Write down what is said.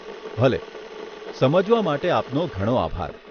ભલે, સમજવા માટે આપનો ઘણો આભાર.